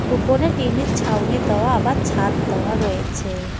উপনে টিনের ছাউনি দেওয়া আবার ছাদ দেওয়া রয়েছে।